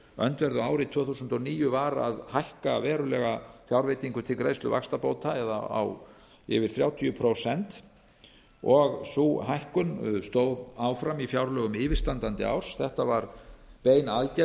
öndverðu ári tvö þúsund og níu var að hækka verulega fjárveitingu til greiðslu vaxtabóta það er yfir þrjátíu prósent sú hækkun stóð áfram í fjárlögum yfirstandandi árs þetta var bein aðgerð